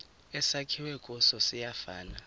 esakhiwe kuso siyafana